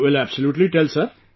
Will absolutely tell Sir